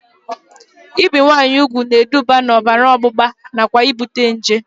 Ibi nwaanyị ugwu ga-eduba na ọbara ọgbụgba nakwa ibute nje